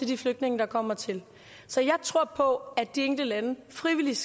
de flygtninge der kommer til så jeg tror på at de enkelte lande frivilligt